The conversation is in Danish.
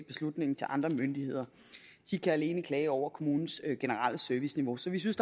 beslutningen til andre myndigheder de kan alene klage over kommunens generelle serviceniveau så vi synes